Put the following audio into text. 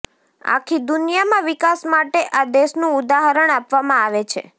આખી દુનિયામાં વિકાસ માટે આ દેશનું ઉદાહરણ આપવામાં આવે છે